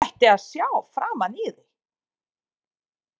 Þú ættir að sjá framan í þig!